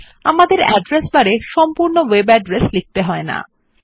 আমাদের অ্যাড্রেস বারে সম্পূর্ণ ওয়েব ঠিকানা লিখতে হয় না